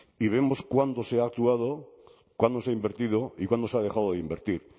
y vemos cuándo se ha actuado cuándo se ha invertido y cuándo se ha dejado de invertir